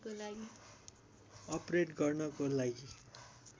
अपरेट गर्नको लागि